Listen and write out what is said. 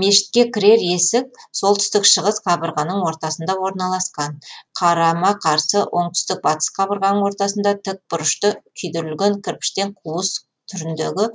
мешітке кірер есік солтүстік шығыс қабырғаның ортасында орналасқан қарама қарсы оңтүстік батыс қабырғаның ортасында тікбұрышты күйдірілген кірпіштен қуыс түріндегі